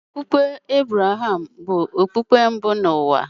Okpukpe Ebreham bụ okpukpe mbụ n’ụwa.